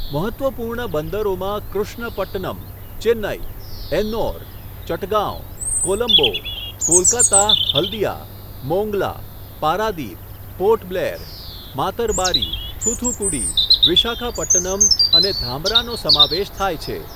મહત્ત્વપૂર્ણ બંદરોમાં કૃષ્ણપટ્ટનમ, ચેન્નઈ, એન્નોર, ચટગાંવ, કોલંબો, કોલકાતા હલ્દીયા, મોંગલા, પારાદીપ, પોર્ટ બ્લેર, માતરબારી, થૂથુકુડી, વિશાખાપટ્ટનમ અને ધામરાનો સમાવેશ થાય છે.